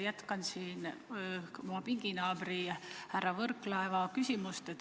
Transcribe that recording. Jätkan oma pinginaabri härra Võrklaeva küsimust.